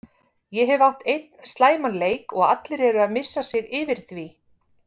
Ég hef átt einn slæman leik og allir eru að missa sig yfir því.